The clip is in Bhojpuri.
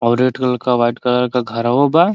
और रेड कलर के व्हाइट कलर का घरों बा।